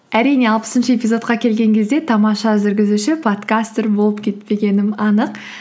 әрине алпысыншы эпизодқа келген кезде тамаша жүргізуші подкастор болып кетпегенім анық